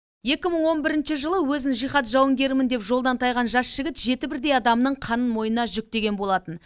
екі мың он бірінші жылы өзін жихад жауынгерімін деп жолдан тайған жас жігіт жеті бірдей адамның қанын мойнына жүктеген болатын